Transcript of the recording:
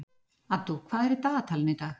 Addú, hvað er í dagatalinu í dag?